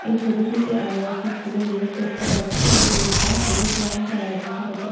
এই ছবিটিতে আমরা একটি স্কুল এর গেট দেখতে পাচ্ছি। যে গেট টা সবুজ রং করা এবং তার ওপর--